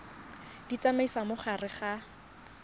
di tsamaisa mo gare ga